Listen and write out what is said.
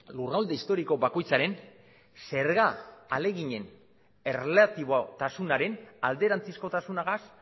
lurralde historiko bakoitzaren zerga ahaleginen erlatibotasunaren alderantzizkotasunagaz